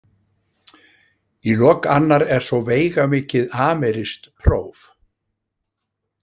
Í lok annar er svo veigamikið amerískt próf.